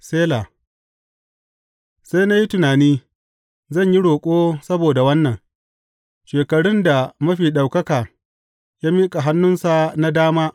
Sela Sai na yi tunani, Zan yi roƙo saboda wannan, shekarun da Mafi Ɗaukaka ya miƙa hannunsa na dama.